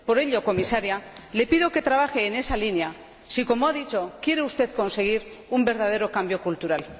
Por ello, Comisaria, le pido que trabaje en esa línea si, como ha dicho, quiere usted conseguir un verdadero cambio cultural.